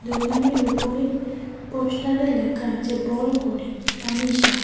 দোকানের উপরে পোস্টারে লেখা আছে বড় করে তানিশা।